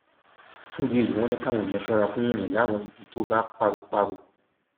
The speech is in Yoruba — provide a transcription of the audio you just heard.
fún ìdí èyí wọn ní káwọn èèyàn ṣọra fún irin láwọn ibi tó bá páropáro